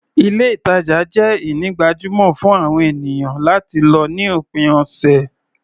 Ilé-ìtajà jẹ́ ini gbajúmọ̀ fún àwọn ènìyàn láti lọ ní òpin ọ̀sẹ̀.